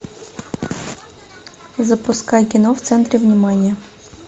запускай кино в центре внимания